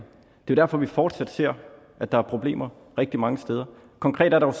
det er derfor vi fortsat ser at der er problemer rigtig mange steder konkret er der